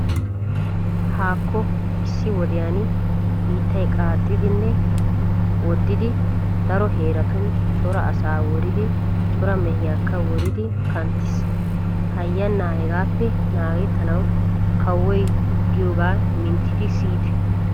Haakko issi wodiyan biittay qaaxxidinne woddidi daro heeratun cora asaa woridi cora mehiyakka woridi kanttiis. Hayyannaa hegaappe naagettanawu kawoy giyogaa minttidi siyite.